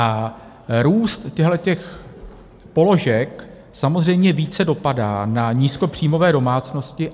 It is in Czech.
A růst těchhle položek samozřejmě více dopadá na nízkopříjmové domácnosti.